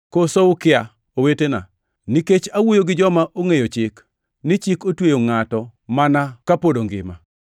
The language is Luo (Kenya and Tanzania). Koso ukia, owetena, nikech awuoyo gi joma ongʼeyo chik, ni chik otweyo ngʼato mana ka pod ongima?